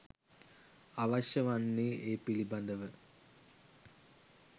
අවශ්‍ය වන්නේ ඒ පිළිබඳව